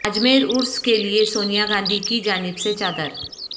اجمیر عرس کیلئے سونیا گاندھی کی جانب سے چادر